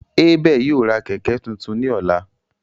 Abel ​​yóò ra kẹkẹ tuntun ni ọla.